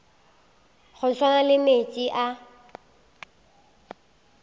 go swana le meetse a